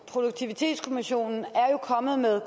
tage diskussionen at